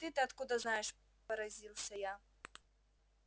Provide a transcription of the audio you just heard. ты-то откуда знаешь поразился я